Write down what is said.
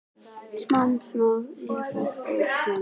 Smám saman varð ég gráðug og fór í sérstaka leiðangra.